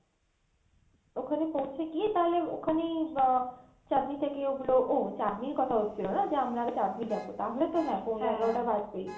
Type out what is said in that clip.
ওখানে পৌঁছে গিয়ে তাহলে ওখানেই আহ চাঁদনী থেকে ওগুলো, ও চাঁদনীর কথা হচ্ছিলো না যে আমরা আগে চাঁদনী যাবো তাহলে তো হ্যাঁ পৌনে এগারোটা বাজবেই।